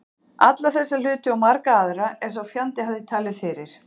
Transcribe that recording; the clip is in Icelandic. Alla þessa hluti og marga aðra, er sá fjandi hafði talið fyrir